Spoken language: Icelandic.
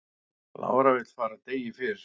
Lára vill fara degi fyrr